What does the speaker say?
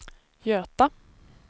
Göta